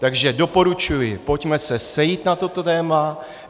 Takže doporučuji, pojďme se sejít na toto téma.